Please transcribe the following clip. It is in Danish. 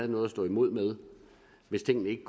noget at stå imod med hvis tingene ikke